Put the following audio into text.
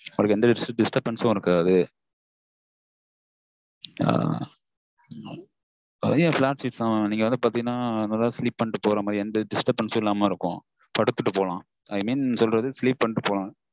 உங்களுக்கு எந்த disturbance ம் இருக்காதா என்ன? flat seat இருக்கும் நீங்க வேணா பாத்திங்கண்ணா sleep பண்ணிட்டு போற மாதிரி இருக்கும் எந்த disturbance ம் இல்லாம இருக்கும் படுத்துட்டு போலாம் i mean sleep பண்ணிட்டு போலாம்.